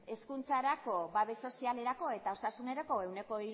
hezkuntzarako babes sozialerako eta osasunerako ehuneko